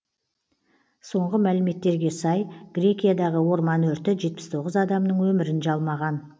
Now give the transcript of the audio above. соңғы мәліметтерге сай грекиядағы орман өрті жетпіс тоғыз адамның өмірін жалмаған